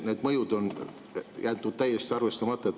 Need mõjud on jäetud täiesti arvestamata.